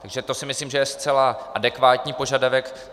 Takže to si myslím, že je zcela adekvátní požadavek.